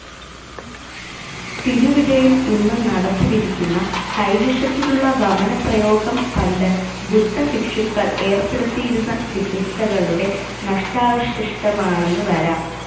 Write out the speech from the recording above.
തിരുവിഴയിൽ ഇന്നും നടപ്പിലിരിക്കുന്ന കൈവിഷത്തിനുള്ള വമനപ്രയോഗം പണ്ട് ബുദ്ധഭിക്ഷുക്കൾ ഏർപ്പെടുത്തിയിരുന്ന ചികിത്സകളുടെ നഷ്ടാവശിഷ്ടമാണെന്നുവരാം.